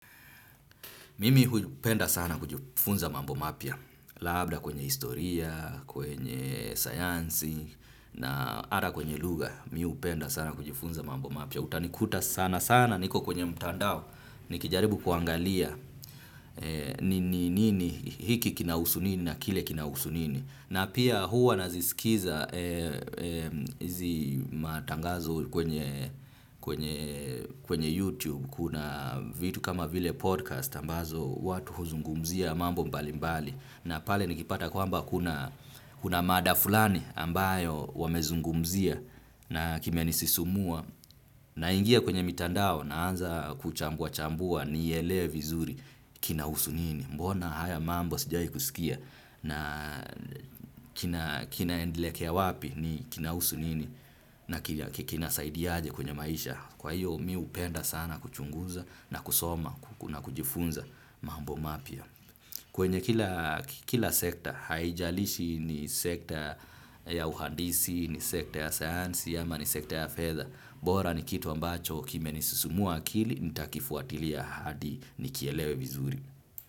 Mimi hupenda sana kujifunza mambo mapya. Labda kwenye historia, kwenye sayansi na hata kwenye lugha. Mi hupenda sana kujifunza mambo mapia. Utanikuta sana sana niko kwenye mtandao. Nikijaribu kuangalia nini hiki kinahusu nini na kile kinahusu nini. Na pia huwa naziskiza hizi matangazo kwenye YouTube. Kuna vitu kama vile podcast ambazo watu huzungumzia mambo mbalimbali na pale nikipata kwamba kuna kuna mada fulani ambayo wamezungumzia na kimenisisimua naingia kwenye mitandao naanza kuchambuachambua nielewe vizuri kinahusu nini. Mbona haya mambo sijaikusikia na kinaelekea wapi kinahusu nini na kinasaidiaje kwenye maisha. Kwa hiyo mi hupenda sana kuchunguza na kusoma na kujifunza mambo mapya. Kwenye kila sekta haijalishi ni sekta ya uhandisi, ni sekta ya sayansi ama ni sekta ya fedha. Bora ni kitu ambacho kimenisisimua akili nitakifuatilia hadi nikielewe vizuri.